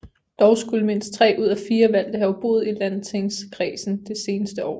Dog skulle mindst 3 ud af 4 valgte have boet i landstingskredsen det seneste år